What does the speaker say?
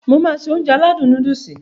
Mo máá se Ounjẹ aládùn nóódùsì